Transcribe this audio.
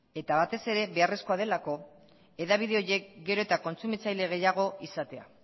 eta batez ere beharrezkoa delako hedabide horiek gero eta kontsumitzaile gehiago izatea